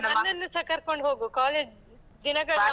ನನ್ನನ್ನೂಸ ಕರ್ಕೋಂಡ್ ಹೋಗು college ದಿನಗಳನ್ನ.